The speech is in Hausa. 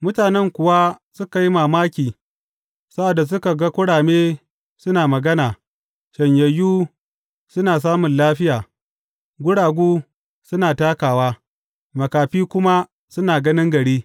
Mutanen kuwa suka yi mamaki sa’ad da suka ga kurame suna magana, shanyayyu suna samun lafiya, guragu suna takawa, makafi kuma suna ganin gari.